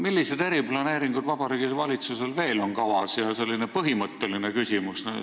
Millised eriplaneeringud Vabariigi Valitsusel veel kavas on?